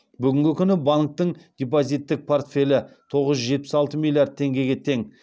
бүгінгі күні банктің депозиттік портфелі тоғыз жүз жетпіс алты миллиард теңгеге тең